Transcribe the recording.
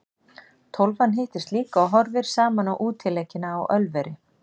Tólfan hittist líka og horfir saman á útileikina á Ölveri.